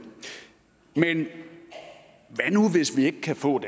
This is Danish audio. men hvad nu hvis vi ikke kan få